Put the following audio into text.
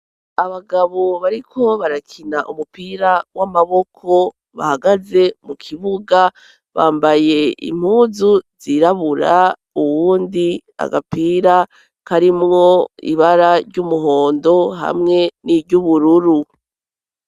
Abagabo bariko barakina umupira w'amaboko bahagaze mu kibuga bambaye impuzu zirabura uwundi agapira karimwo ibara ry'umuhondo hamwe n'iryubururu.